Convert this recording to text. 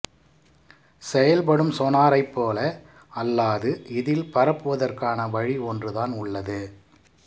செயல்படும் சொனாரைப் போல அல்லாது இதில் பரப்புவதற்கான வழி ஒன்றுதான் உள்ளது